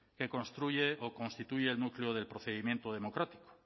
que construye o constituye el núcleo del procedimiento democrático